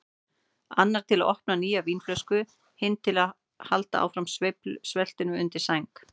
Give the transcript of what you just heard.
Annar til að opna nýja vínflösku, hinn til að halda áfram sveltinu undir sæng.